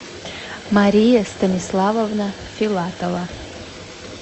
мария станиславовна филатова